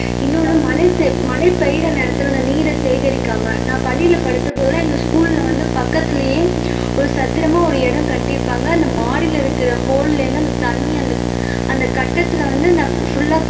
இன்னொண்ணு மழை சே மழை பெய்யிற நேரத்துல அந்த நீரை சேகரிக்காம நான் பள்ளியில படித்த போதெல்லாம் எங்க school ல வந்து பக்கத்துலயே ஒரு சதுரமா ஒரு இடம் கட்டிருப்பாங்க அங்க மாடில இருக்கிற hole ல இருந்து அந்த தண்ணி அந்த கட்டத்துல வந்து full ஆ